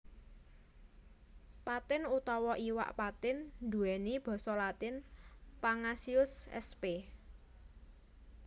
Patin utawa iwak patin nduwèni basa latin Pangasius sp